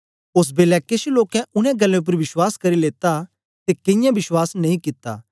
ओस बेलै केछ लोकें उनै गल्लें उपर विश्वास करी लेता ते कईयें विश्वास नेई कित्ता